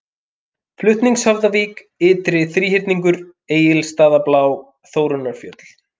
Flutningshöfðavík, Ytri-Þríhyrningur, Egilsstaðablá, Þórunnarfjöll